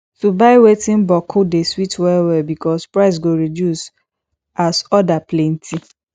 to buy wetin bokku dey sweet well well because price go reduce as order plenti